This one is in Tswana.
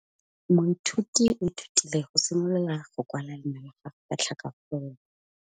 Moithuti o ithutile go simolola go kwala leina la gagwe ka tlhakakgolo.